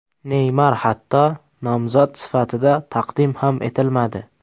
Neymar hatto nomzod sifatida taqdim ham etilmadi.